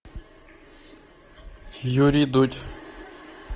юрий дудь